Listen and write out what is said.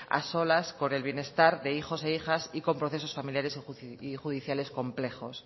a solas con el bienestar de hijos e hijas y con procesos familiares y judiciales complejos